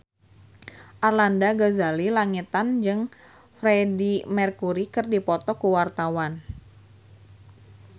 Arlanda Ghazali Langitan jeung Freedie Mercury keur dipoto ku wartawan